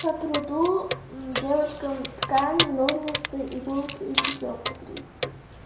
по труду девочкам ткань ножницы иголки и тесёмку принести